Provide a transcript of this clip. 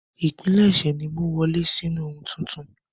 Ìpilẹ̀ṣẹ̀ ni ìmú wọlé sí ohun tuntun.